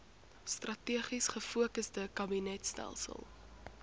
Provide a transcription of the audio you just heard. strategies gefokusde kabinetstelsel